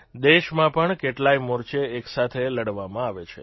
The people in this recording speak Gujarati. દેશમાં પણ કેટલાય મોરચે એક સાથે લડવામાં આવે છે